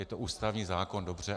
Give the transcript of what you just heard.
Je to ústavní zákon, dobře.